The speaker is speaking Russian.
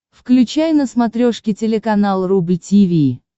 включай на смотрешке телеканал рубль ти ви